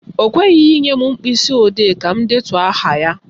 Ọ kweghị inye m mkpịsịodee ka m detuo aha ya.